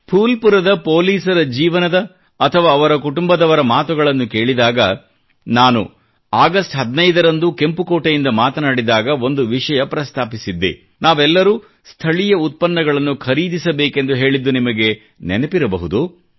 ಫೂಲ್ಪುರದ ಪೋಲಿಸರ ಜೀವನದ ಅಥವಾ ಅವರ ಕುಟುಂಬದವರ ಮಾತುಗಳನ್ನು ಕೇಳಿದಾಗ ನಾನು ಆಗಸ್ಟ್ 15 ರಂದು ಕೆಂಪುಕೋಟೆಯಿಂದ ಮಾತನಾಡಿದಾಗ ಒಂದು ವಿಷಯ ಪ್ರಸ್ತಾಪಿಸಿದ್ದೆ ನಾವೆಲ್ಲರೂ ಸ್ಥಳೀಯ ಉತ್ಪನ್ನಗಳನ್ನು ಖರೀದಿಸಬೇಕೆಂದು ಹೇಳಿದ್ದು ನಿಮಗೆ ನೆನಪಿರಬಹುದು